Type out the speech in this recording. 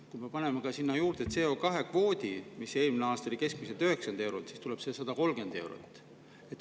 Kui me paneme sinna juurde CO2-kvoodi, mis eelmine aasta oli keskmiselt 90 eurot, siis tuleb see 130 eurot.